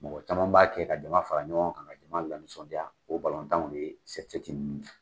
Mɔgɔ caman b'a kɛ ka jama fara ɲɔgɔn kan ka jama la nisɔndiya o ye de ye nunnu .